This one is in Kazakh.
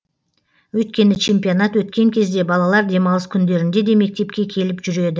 өйткені чемпионат өткен кезде балалар демалыс күндерінде де мектепке келіп жүреді